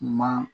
Ma